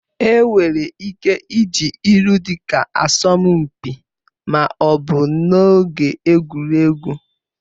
Enwere ike iji ilu dịka asọmpi ma ọ bụ n'oge egwuregwu